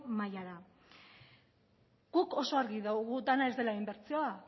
mailara guk oso argi dugu dena ez dela inbertsioa